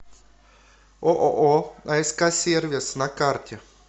ооо аск сервис на карте